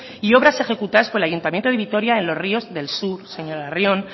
y obras ejecutadas por el ayuntamiento de vitoria en los ríos del sur